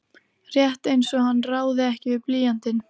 Rétt einsog hann ráði ekki við blýantinn.